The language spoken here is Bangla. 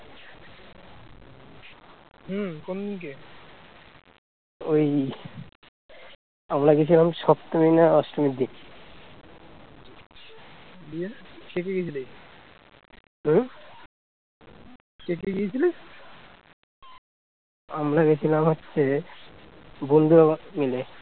আমরা গেছিলাম হচ্ছে বন্ধুরা মিলে